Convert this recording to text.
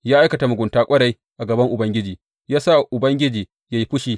Ya aikata mugunta ƙwarai a gaban Ubangiji, ya sa Ubangiji ya yi fushi.